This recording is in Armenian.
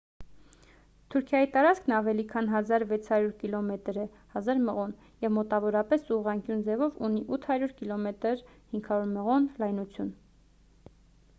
թուրքիայի տարածքն ավելի քան 1,600 կիլոմետր է 1,000 մղոն և մոտավորապես ուղղանկյուն ձևով ունի 800 կմ 500 մղոն լայնություն: